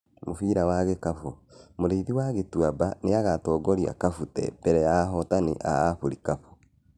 Mũbira wa gĩkabũ: Mũrĩithi wa Gĩtuaba niagatongoria Kabute mbere ya ahotani a Afurikabũ